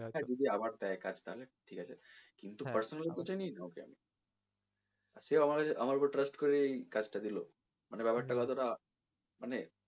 হ্যাঁ যদি আবার দেয় কাজ তাহলে ঠিক আছে কিন্তু personally তো চিনি না আমি ওকে, আর সেও আমার ওপর আমার ওপর trust করেই এই কাজটা দিলো মানে ব্যাপার টা কতো টা মানে,